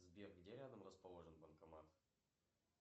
сбер где рядом расположен банкомат